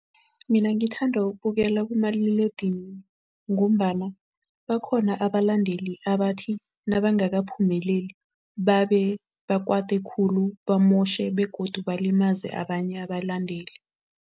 Mina ngithanda ukubukela kumaliledinini ngombana bakhona abalandeli abathi nabangakaphumeleli babe bakwata khulu, bamotjhe begodu balimaze abanye abalandeli.